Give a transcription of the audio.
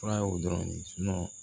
Fura ye o dɔrɔn de ye